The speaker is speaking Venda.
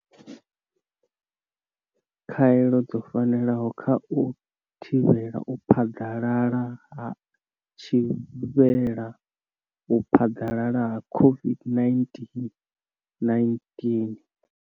Khaelo dzo fanela na kha u thivhela u phaḓalala ha u thivhela u phaḓalala ha COVID-19, 19.